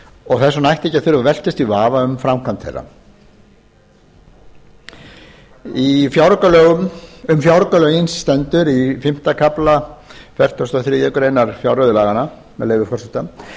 og þess vegna ætti ekki að þurfa að velkjast í vafa um framkvæmd þeirra um fjáraukalögin stendur í fimmta kafla í fertugustu og þriðju grein fjárreiðulaganna með leyfi forseta